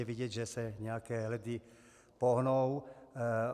Je vidět, že se nějaké ledy pohnou.